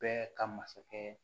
Bɛɛ ka masakɛ